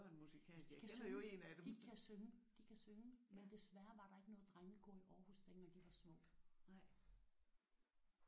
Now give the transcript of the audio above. Altså de kan synge. De kan synge. De kan synge men desværre var der ikke noget drengekor i Aarhus dengang de var små